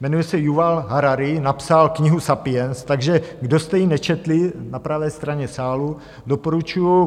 Jmenuje se Juval Harari, napsal knihu Sapiens, takže kdo jste ji nečetli na pravé straně sálu, doporučuji.